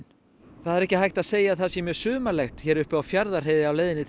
það er ekki hægt að segja að það sé mjög sumarlegt hér uppi á Fjarðarheiði á leiðinni til